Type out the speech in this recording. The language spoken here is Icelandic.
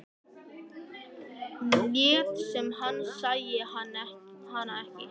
Lét sem hann sæi hana ekki.